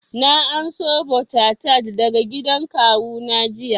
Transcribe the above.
Na anso butter tart daga gidan kawu na jiya